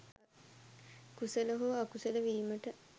කුසල හෝ අකුසල වීමට